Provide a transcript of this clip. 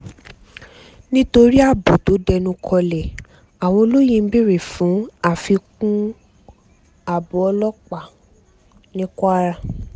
nítorí ààbò tó dẹnukọlẹ̀ àwọn olóyè ìlú ń béèrè fún àfikún àgọ́ ọlọ́pàá ní kwara